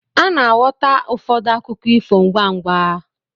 Ana-aghọta ụfọdụ akụkọ ifo ngwá ngwá.